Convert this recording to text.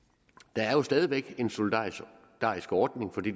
der er jo stadig væk en solidarisk ordning for de